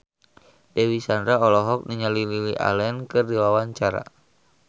Dewi Sandra olohok ningali Lily Allen keur diwawancara